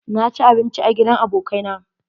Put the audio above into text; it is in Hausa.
Na ci abinci a gidan abokai na